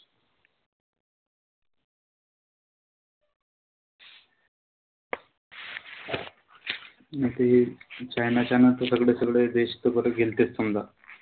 नाई त हे चायना च्या न त सगळे सगळे देश त बरं गेलतेच समजा.